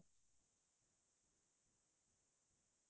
হয় হয়